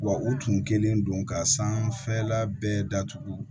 Wa u tun kɛlen don ka sanfɛla bɛɛ datugu